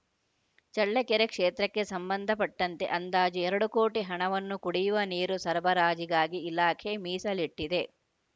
ಚಳ್ಳಕೆರೆ ಕ್ಷೇತ್ರಕ್ಕೆ ಸಂಬಂಧಪಟ್ಟಂತೆ ಅಂದಾಜು ಎರಡು ಕೋಟಿ ಹಣವನ್ನು ಕುಡಿಯುವ ನೀರು ಸರಬರಾಜಿಗಾಗಿ ಇಲಾಖೆ ಮೀಸಲಿಟ್ಟಿದೆ